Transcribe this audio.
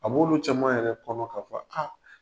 A b'olu caman yɛrɛ kɔnɔ k'a fɔ a